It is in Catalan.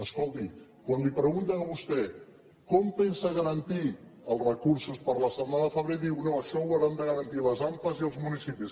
escolti quan li pregunten a vostè com pensa garantir els recursos per a la setmana de febrer diu no això ho hauran de garantir les ampa i els municipis